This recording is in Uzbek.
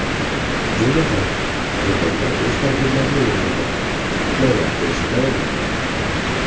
Jumladan, quyidagilar o‘z tabriklarini yo‘llagan: Qutlovlar kelishi davom etmoqda.